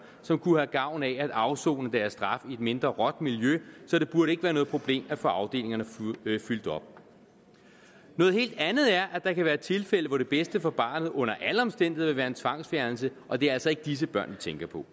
som kunne have gavn af at afsone deres straf i et mindre råt miljø så det burde ikke være noget problem at få disse afdelinger fyldt op noget helt andet er at der kan være tilfælde hvor det bedste for barnet under alle omstændigheder vil være en tvangsfjernelse og det er altså ikke disse børn vi tænker på